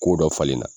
Ko dɔ falen na